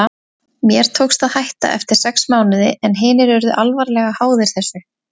Mér tókst að hætta eftir sex mánuði en hinir urðu alvarlega háðir þessu.